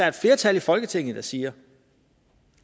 et flertal i folketinget der siger